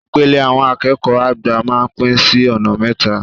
Ìpele àwọn akẹ́kọ̀ọ́ àgbà máa ń pín sí ọ̀nà mẹ́ta.